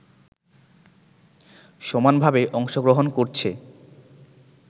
সমানভাবে অংশগ্রহণ করছে